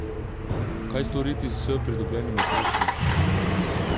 Kaj storiti s pridobljenimi sredstvi?